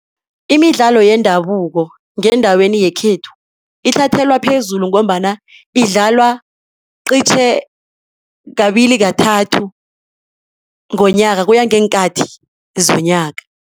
Imidlalo yendabuko ngendaweni yekhethu, ithathelwa phezulu ngombana idlalwa qitjhe kabili kathathu ngonyaka kuya ngeenkathi zonyaka.